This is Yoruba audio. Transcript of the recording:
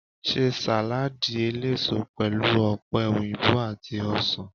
Ṣe sàládì eléso pẹlú ọ̀pẹ̀ òyìnbó àti ọsàn.